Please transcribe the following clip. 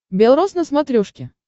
бел роз на смотрешке